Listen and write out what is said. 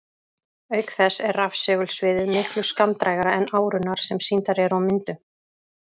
Auk þess er rafsegulsviðið miklu skammdrægara en árurnar sem sýndar eru á myndum.